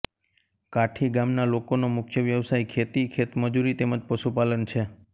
કાઠી ગામના લોકોનો મુખ્ય વ્યવસાય ખેતી ખેતમજૂરી તેમ જ પશુપાલન છે